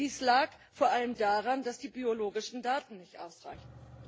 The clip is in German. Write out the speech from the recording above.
Dies lag vor allem daran, dass die biologischen Daten nicht ausreichten.